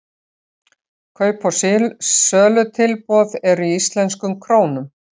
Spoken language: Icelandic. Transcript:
kaup og sölutilboð eru í íslenskum krónum